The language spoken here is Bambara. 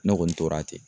Ne kɔni tora ten